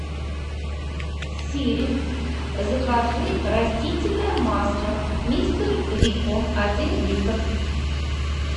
сири закажи растительное масло мистер рикко один литр